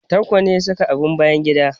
Tanko ne ya saka abin bayan gida?